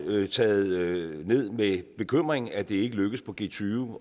taget ned med bekymring at det ikke lykkedes på g20